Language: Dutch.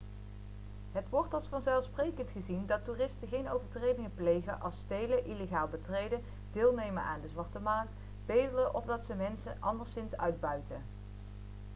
het wordt als vanzelfsprekend gezien dat toeristen geen overtredingen plegen als stelen illegaal betreden deelnemen aan de zwarte markt bedelen of dat ze mensen anderszins uitbuiten